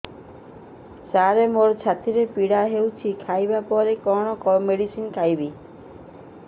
ସାର ମୋର ଛାତି ପୀଡା ହଉଚି ଖାଇବା ପରେ କଣ ମେଡିସିନ ଖାଇବି